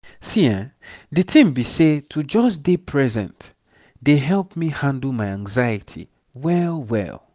di tin be say to just dey present dey help me handle my anxiety well well.